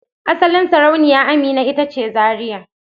Asalin Sarauniya Amina ita ce Zaria.